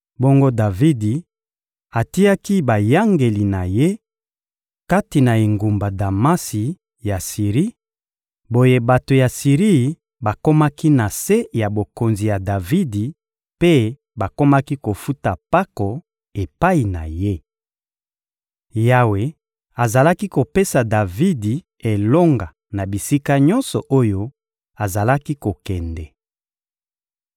Bongo Davidi atiaki bayangeli na ye kati na engumba Damasi ya Siri; boye bato ya Siri bakomaki na se ya bokonzi ya Davidi mpe bakomaki kofuta mpako epai na ye. Yawe azalaki kopesa Davidi elonga na bisika nyonso oyo azalaki kokende.